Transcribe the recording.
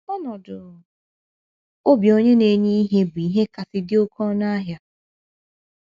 Ọnọdụ obi onye na - enye ihe bụ ihe kasị dị oké ọnụ ahịa.